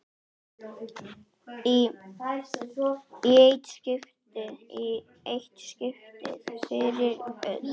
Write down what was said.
Í eitt skipti fyrir öll!